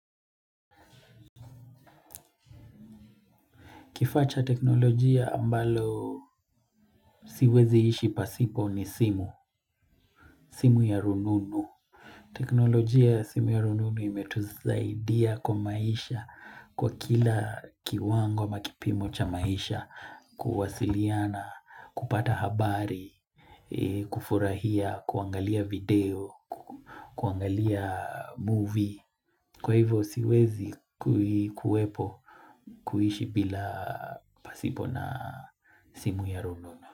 Kifaa cha teknolojia ambalo siwezi ishi pasipo ni simu. Simu ya rununu. Teknolojia ya simu ya rununu imetusaidia kwa maisha kwa kila kiwango ama kipimo cha maisha. Kuwasiliana, kupata habari, kufurahia, kuangalia video, kuangalia movie. Kwa hivyo siwezi kuwepo kuishi bila pasipo na simu ya rununu.